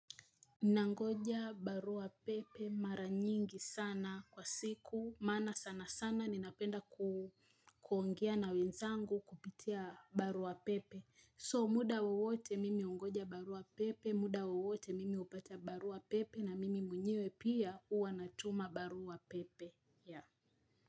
Nangoja barua pepe mara nyingi sana kwa siku maana sana sana ninapenda kuongea na wenzangu kupitia barua pepe so muda wowote mimi hugoja barua pepe muda wowote mimi hupata barua pepe na mimi mwenyewe pia huwa natuma barua pepe ya.